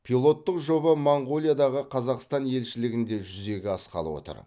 пилоттық жоба моңғолиядағы қазақстан елшілігінде жүзеге асқалы отыр